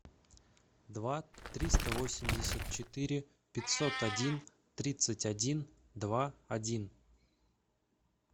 два триста восемьдесят четыре пятьсот один тридцать один два один